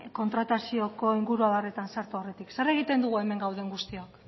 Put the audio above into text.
kontratazioko inguruabarretan sartu aurretik zer egiten dugu hemen gauden guztiok